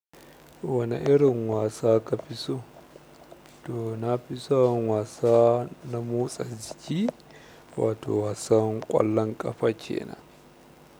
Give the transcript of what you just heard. Wane irin wasa ka fi so, to nafi san wasa na motsa jiki wato wasan ƙwallon ƙafa kenan.